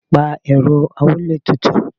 Pa Ẹ̀rọ amuletutu.